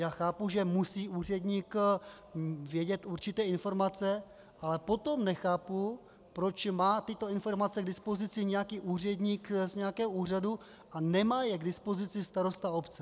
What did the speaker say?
Já chápu, že musí úředník vědět určité informace, ale potom nechápu, proč má tyto informace k dispozici nějaký úředník z nějakého úřadu a nemá je k dispozici starosta obce.